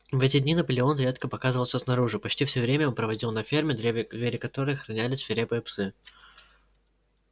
в эти дни наполеон редко показывался снаружи почти все время он проводил на ферме двери которой охраняли свирепые псы